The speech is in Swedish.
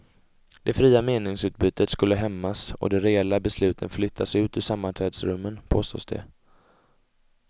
Det fria meningsutbytet skulle hämmas och de reella besluten flyttas ut ur sammanträdesrummen, påstås det.